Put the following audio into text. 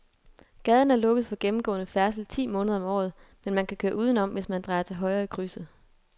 Gaden er lukket for gennemgående færdsel ti måneder om året, men man kan køre udenom, hvis man drejer til højre i krydset.